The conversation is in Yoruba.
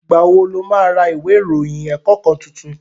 Ìgbà wo lo ma ra ìwé ìròyìn ẹ̀kọ́ kan tuntun?